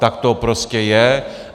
Tak to prostě je.